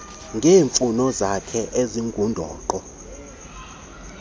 ngeemfuno zakhe ezingundoqo